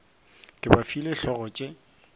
ke ba file hlogo tše